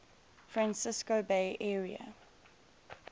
francisco bay area